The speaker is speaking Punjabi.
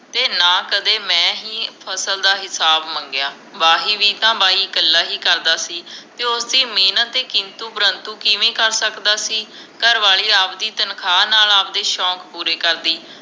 ਤੇ ਨਾ ਕਦੇ ਮੈ ਹੀ ਫਸਲ ਦਾ ਹਿਸਾਬ ਮੰਗਿਆ ਵਾਹੀ ਵੀ ਤਾਂ ਬਾਈ ਇਕੱਲਾ ਹੀ ਕਰਦਾ ਸੀ ਤੇ ਉਸ ਦੀ ਮੇਹਨਤ ਤੇ ਕਿੰਤੂ ਪ੍ਰੰਤੂ ਕਿਮੇ ਕਰ ਸਕਦਾ ਸੀ ਘਰਵਾਲੀ ਆਵਦੀ ਤਨਖਾਂ ਨਾਲ ਆਵਦੇ ਸ਼ੋਂਕ ਪੂਰੇ ਕਰਦੀ